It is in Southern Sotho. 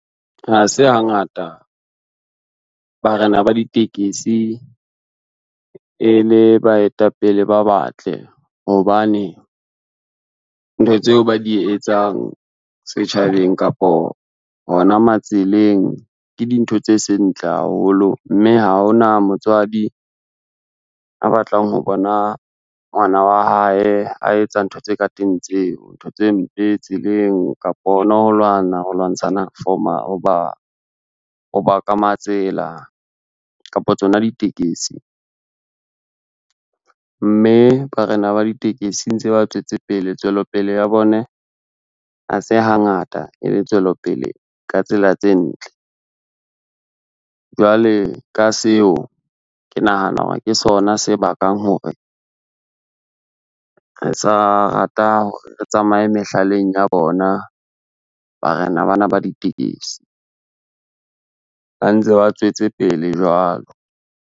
Ha se hangata barena ba ditekesi e le baetapele ba batle hobane, ntho tseo ba di etsang setjhabeng kapo hona matseleng ke dintho tse seng ntle haholo, mme ha hona motswadi a batlang ho bona ngwana wa hae a etsa ntho tse ka teng tseo. Ntho tse mpe tseleng kapa hona ho lwana ho lwantshana ho ba ka matsela kapa tsona ditekesi. Mme barena ba ditekesi ntse ba tswetse pele tswelopele ya bone ha se hangata e le tswelopele ka tsela tse ntle. Jwale ka seo, ke nahana hore ke sona se bakang hore re sa rata ho tsamaya mehlaleng ya bona barena bana ba ditekesi ba ntse ba tswetse pele jwalo.